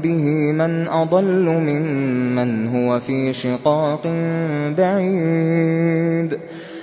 بِهِ مَنْ أَضَلُّ مِمَّنْ هُوَ فِي شِقَاقٍ بَعِيدٍ